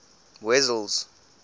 wessels